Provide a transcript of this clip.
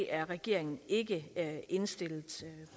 at regeringen ikke er indstillet